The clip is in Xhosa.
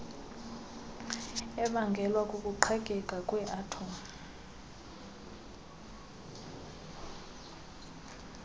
ebangelwa kukuqhekeka kweathom